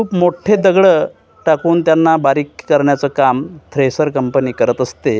खूप मोठे दगड टाकून त्यांना बारीक करण्याचं काम थ्रेसर कंपनी करत असते.